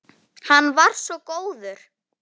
Hann var svo góður.